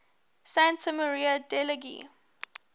santa maria degli